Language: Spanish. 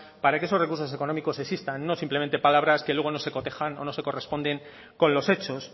para que esos recursos económicos existan no simplemente palabras que luego no se cotejan o no se corresponden con los hechos